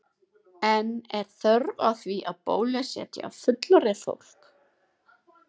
En er þörf á því að bólusetja fullorðið fólk?